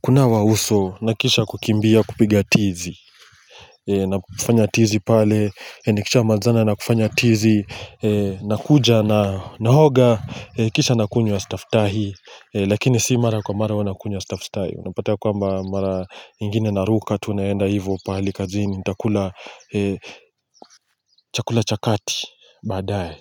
kunawa uso na kisha kukimbia kupiga tizi na tizi pale, nikishamalizana na kufanya tizi, na kuja naoga, kisha nakunywa staftahi Lakini si mara kwa mara huwa nakunywa staftahi unapata ya kwamba mara ingine naruka tu naenda ivo pale kazini, nitakula chakula cha kati baadaye.